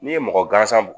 N'i ye mɔgɔ gansan b